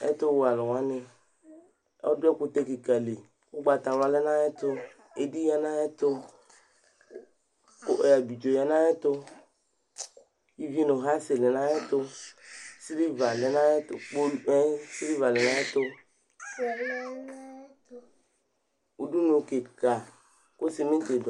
Ɛtʋwɛ alʋ wanɩ Ɔdʋ ɛkʋtɛ kɩka li, ʋgbatawla lɛ nʋ ayɛtʋ, edi ya nʋ ayɛtʋ, ʋ ɛ abidzo ya nʋ ayɛtʋ, ivi nʋ ɣasɩ lɛ nʋ ayɛtʋ, sɩlɩva lɛ nʋ ayɛtʋ kpolu ɛɛ sɩlɩva lɛ nʋ ayɛtʋ Udunu kɩka kʋ sɩmɩtɩ dʋ